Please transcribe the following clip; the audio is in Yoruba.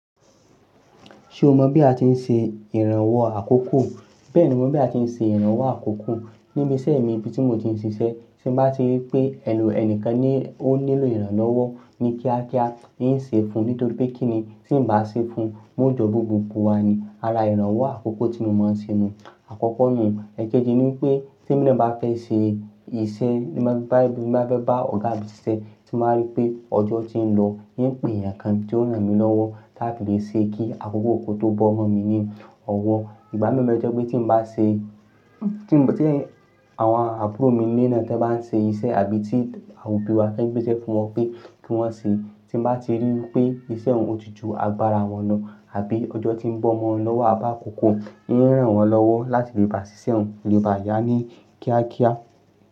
Ṣé o mọ̀ bí a ti ń ṣe ìrànwọ́ àkókò? Bẹ́ẹ̀ni, mo mọ̀ bí a ti ń ṣe ìrànwọ́ àkókò. Níbi iṣẹ́ mi níbi tí mo ti ń ṣiṣẹ́, tí mo bá rí pé ẹni- ẹni kan ní ó nílò ìrànlọ́wọ́ ní kíákíá, n ó ṣe fún nítorí pé kíni tí n bá ṣe fún, wọn ó jọ bu gbogbo wá ni. Ara ìrànwọ́ àkókò tí mo máa ń ṣe ni àkọ́kọ́ nù. Èkejì ní wípé tí mo bá fẹ́ ṣe iṣẹ́, bá ti bá fẹ́ bá ọ̀gá mi ṣiṣẹ́, tí mo bá rí pé ọjọ́ ti ń lọ, n yóò pè èèyàn kan tí ó ràn mí lọ́wọ́ láti lè ṣe kí àkókò kó tó bọ́ mọ́ mi ní ọwọ́. Ìgbà mi n bẹ tó jẹ́ pé tí n bá ṣe, àwọn àbúrò mi nílé náà tí wọ́n bá ń ṣe iṣẹ́ àbí tí àwọn òbí wa tan gbéṣẹ́ fún wọn pé kí wọ́n ṣe, tí n bá ti ríi wípé iṣẹ́ ọ̀hún o ti ju agbára wọn lọ àbí ọjọ́ ti ń bọ́ mo wọn lọ́wọ́ àbí àkókò, n ràn wọ́n lọ́wọ́ láti lè bá ṣiṣẹ́ ọ̀hún kó lè bá yá ní kíákíá.